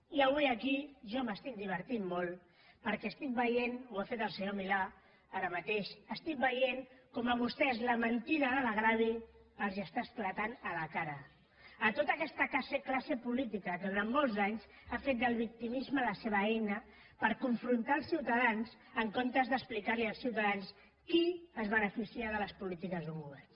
jo avui aquí em diverteixo molt perquè veig ho ha fet el senyor milà ara mateix com a vostès la mentida del greuge els esclata a la cara a tota aquesta classe política que durant molts anys ha fet del victimisme la seva eina per confrontar els ciutadans en comptes d’explicar als ciutadans qui es beneficia de les polítiques d’un govern